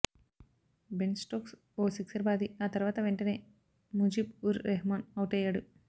Ben Stokes ఓ sixer బాది ఆ తర్వాత వెంటనే ముజీబ్ ఉర్ రెహ్మాన్ అవుటయ్యాడు